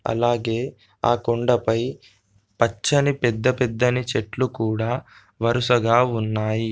అలాగే ఆ కొండపై పచ్చని పెద్దపెద్దని చెట్లు కూడా వరుసగా ఉన్నాయి.